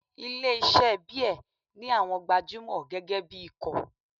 Ilé iṣẹ́ beer ní àwọn gbajúmọ̀ gẹ́gẹ́ bí ikọ̀.